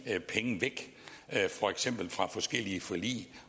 penge væk for eksempel fra forskellige forlig